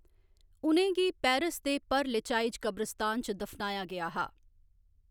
उ'नें गी पेरिस दे पर लेचाइज़ क़ब्रिस्तान च दफनाया गेआ हा।